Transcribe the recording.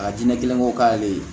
A diinɛ kelen ko k'ale ye